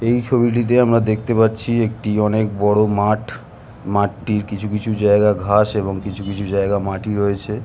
এই ছবিটিতে আমরা দেখতে পাচ্ছি একটি অনেক বড় মাঠ মাঠটির কিছু কিছু জায়গা ঘাস এবং কিছু কিছু জায়গায় মাটি রয়েছে ।